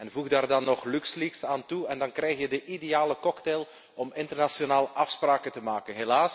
Voeg daar dan nog eens Luxleaks aan toe en dan krijg je de ideale cocktail om internationaal afspraken te maken.